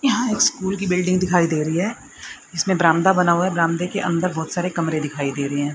यहां स्कूल की बिल्डिंग दिखाई दे री है इसमें बरामदा बना हुआ है बरामदे के अंदर बहुत सारे कमरे दिखाई देरें हैं।